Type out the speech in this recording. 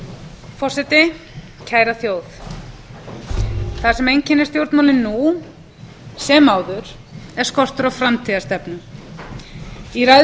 forseti kæra þjóð það sem einkennir stjórnmálin nú sem áður er skortur á framtíðarstefnu í ræðu